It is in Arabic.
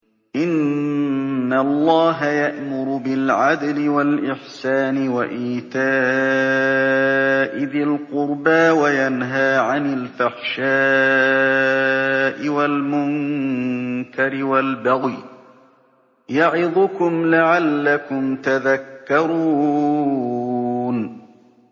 ۞ إِنَّ اللَّهَ يَأْمُرُ بِالْعَدْلِ وَالْإِحْسَانِ وَإِيتَاءِ ذِي الْقُرْبَىٰ وَيَنْهَىٰ عَنِ الْفَحْشَاءِ وَالْمُنكَرِ وَالْبَغْيِ ۚ يَعِظُكُمْ لَعَلَّكُمْ تَذَكَّرُونَ